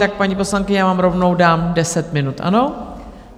Tak, paní poslankyně, já vám rovnou dám deset minut, ano?